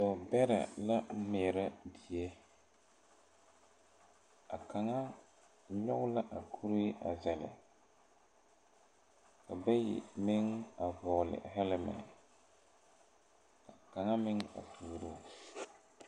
Dɔɔ bɛrɛla meɛrɛ die a kaŋa nyɔge la a kuree a zɛle ka bayi meŋ a vɔgle hɛlmɛl ka kaŋa meŋ a tuuruu.